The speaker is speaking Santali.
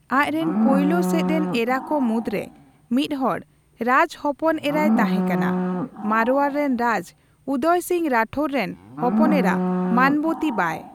ᱟᱡ ᱨᱮᱱ ᱯᱳᱭᱞᱳ ᱥᱮᱫ ᱨᱮᱱ ᱮᱨᱟᱠᱚ ᱢᱩᱫᱽᱨᱮ ᱢᱤᱫ ᱦᱚᱲ ᱨᱟᱡᱽ ᱦᱚᱯᱚᱱ ᱮᱨᱟᱭ ᱛᱟᱦᱮᱸ ᱠᱟᱱᱟ, ᱢᱟᱲᱳᱣᱟᱨ ᱨᱮᱱ ᱨᱟᱡᱽ ᱩᱫᱚᱭ ᱥᱤᱝᱦᱚ ᱨᱟᱴᱷᱳᱨ ᱨᱮᱱ ᱦᱚᱯᱚᱱ ᱮᱨᱟ ᱢᱟᱱᱚᱵᱚᱛᱤ ᱵᱟᱭ ᱾